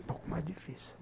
Um pouco mais difícil.